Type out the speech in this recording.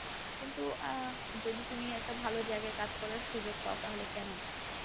কিন্তু আ যদি তুমি একটা ভালো জায়গায় কাজ করার সুযোগ পাও তাহলে কেন না?